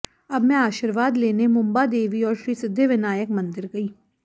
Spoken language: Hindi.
अब मैं आशीर्वाद लेने मुंबा देवी और श्रीसिद्धिविनायक मंदिर गयी